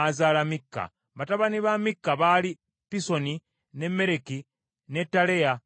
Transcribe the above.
Batabani ba Mikka baali Pisoni, ne Mereki, ne Taleya ne Akazi.